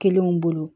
Kelenw bolo